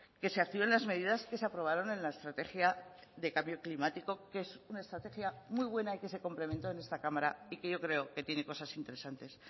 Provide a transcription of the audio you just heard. que se activen las medidas que se aprobaron en la estrategia de cambio climático que es una estrategia muy buena y que se complementó en esta cámara y que yo creo que tiene cosas interesantes